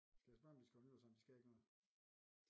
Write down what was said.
Skal jeg spørge om vi skal holde nytår sammen de skal ikke noget